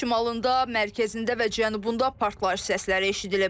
Ölkənin şimalında, mərkəzində və cənubunda partlayış səsləri eşidilib.